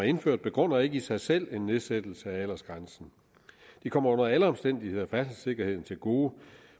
indført begrunder ikke i sig selv en nedsættelse af aldersgrænsen de kommer under alle omstændigheder færdselssikkerheden til gode